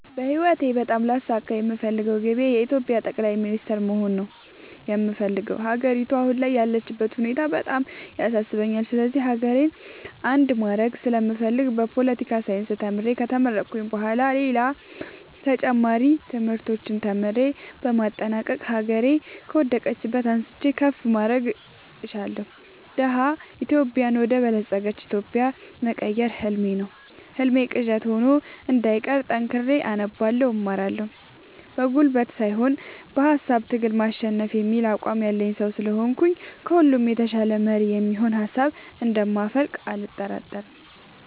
በህይወቴ በጣም ላሳካ የምፈልገው ግቤ የኢትዮጵያ ጠቅላይ ሚኒስተር መሆን ነው የምፈልገው። ሀገሪቱ አሁን ያለችበት ሁኔታ በጣም ያሳስበኛል ስለዚህ ሀገሬን አንድ ማድረግ ስለምፈልግ በፓለቲካል ሳይንስ ተምሬ ከተመረኩኝ በኋላ ሌላም ተጨማሪ ትምህርቶችን ተምሬ በማጠናቀቅ ሀገሬ ከወደቀችበት አንስቼ ከፍ ማድረግ እሻለሁ። ደሀ ኢትዮጵያን ወደ በለፀገች ኢትዮጵያ መቀየር ህልሜ ነው ህልሜ ቅዠት ሆኖ እንዳይቀር ጠንክሬ አነባለሁ እማራለሁ። በጉልበት ሳይሆን በሃሳብ ትግል ማሸነፍ የሚል አቋም ያለኝ ሰው ስለሆንኩኝ ከሁሉ የተሻለ መሪ የሚሆን ሀሳብ እንደ ማፈልቅ አልጠራጠርም።